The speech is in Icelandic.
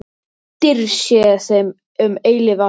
Dýrð sé þeim um eilífð alla.